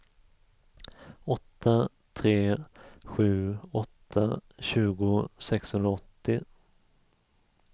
åtta tre sju åtta tjugo sexhundraåttio